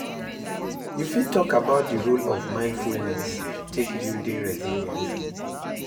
You fit talk about di role of mindfulness to take building resilience?